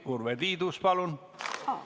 Urve Tiidus, palun!